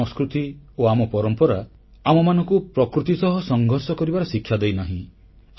ଆମ ସଂସ୍କୃତି ଓ ଆମ ପରମ୍ପରା ଆମମାନଙ୍କୁ ପ୍ରକୃତି ସହ ସଂଘର୍ଷ କରିବାର ଶିକ୍ଷା ଦେଇନାହିଁ